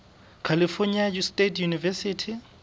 california state university